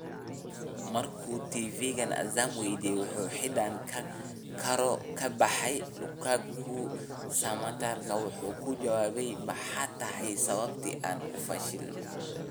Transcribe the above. Mar uu TV-ga Azam weydiiyey in uu xidhan karo kabaha Lukaku, Samatta waxa uu ku jawaabay: “Maxay tahay sababta aan u fashilmo?